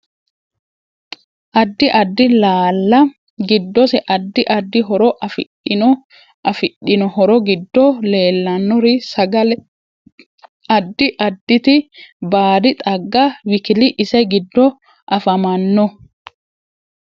Addi addi laala giddose adda ddi horo afidhino afidhino horo giddo leelanori sagale, addi additi baadi xaagga wkl ise giddo afamanno